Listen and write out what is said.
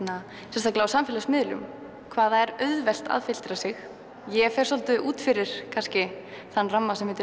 sérstaklega á samfélagsmiðlum hvað það er auðvelt að filtera sig ég fer svolítið út fyrir kannski þann ramma sem heitir